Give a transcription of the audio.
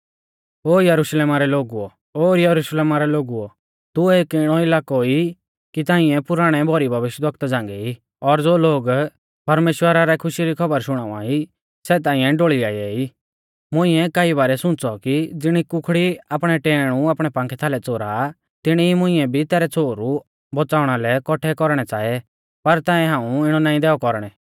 ओ यरुशलेम रै लोगुओ ओ यरुशलेमा रै लोगुओ तू एक इणौ इलाकौ ई कि तांइऐ पुराणै भौरी भविष्यवक्ता झ़ांगै ई और ज़ो लोग परमेश्‍वरा रै खुशी री खौबर शुणाउवाई सै तांइऐ ढोल़ीयाऐ ई मुंइऐ कई बारै सुंच़ौ कि ज़िणी कुखड़ी आपणै टैऐणु आपणै पांखै थालै च़ोरा तिणी ई मुंइऐ भी तैरै छ़ोहरु बौच़ाउणा लै कौठै कौरणै च़ाऐ पर तांऐ हाऊं इणौ नाईं दैऔ कौरणै